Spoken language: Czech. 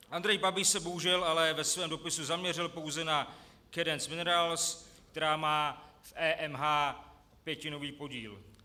Andrej Babiš se bohužel ale ve svém dopisu zaměřil pouze na Cadence Minerals, která má v EMH pětinový podíl.